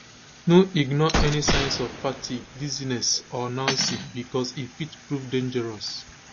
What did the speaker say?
no ignore any signs of fatigue dizziness or nausea becos e fit prove dangerous